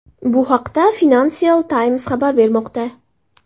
Bu haqda Financial Times xabar bermoqda .